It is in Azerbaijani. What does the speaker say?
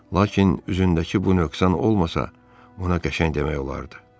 Lakin üzündəki bu nöqsan olmasa, ona qəşəng demək olardı.